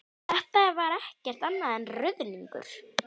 Þetta var ekkert annað en ruðningur!